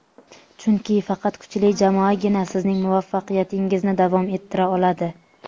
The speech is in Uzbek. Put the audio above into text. chunki faqat kuchli jamoagina sizning muvaffaqiyatingizni davom ettira oladi.